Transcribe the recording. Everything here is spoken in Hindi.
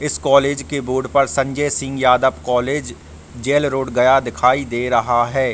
इस कॉलेज के बोर्ड पर Sanjay Singh Yadav college jail road Gaya दिखाई दे रहा है।